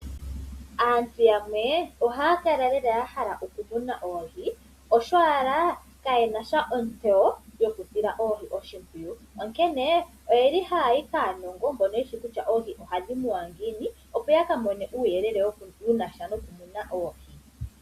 Aantu yamwe oha ya kala ya hala lela okumuna oohi osho owala ka ye nasha ontseyo yokusila oohi oshimpwiyu, onkene oye li haya yi aanongo mbono ye shi kutya oohi oha dhi munwa ngiini, opo ya ka mone uuyelele u na sha nokumuna oohi.